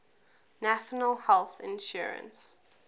national health insurance